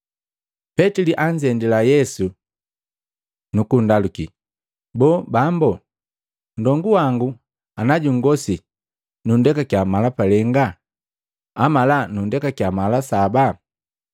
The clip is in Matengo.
Petili anzendila Yesu nukunndaluki, “Boo, Bambu, nndongu wangu ana jungosi nunndekakia mala palenga? Amala nundekakiya mala saba?”